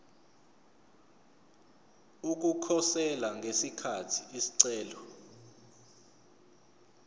ukukhosela ngesikhathi isicelo